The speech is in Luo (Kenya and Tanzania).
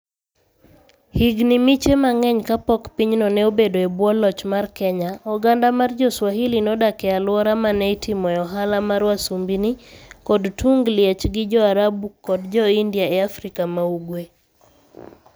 Higini miche mang'eny kapok pinyno ne obedo e bwo loch mar Kenya, oganda mar Jo-Swahili nodak e alwora ma ne itimoe ohala mar wasumbini kod tung liech gi Jo-Arabu kod Jo-India e Afrika ma ugwe.